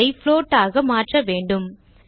இதை float ஆக மாற்ற வேண்டும்